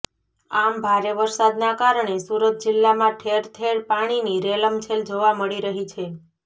આમ ભારે વરસાદના કારણે સુરત જિલ્લામાં ઠેરઠેર પાણીની રેલમછેલ જોવા મળી રહી છે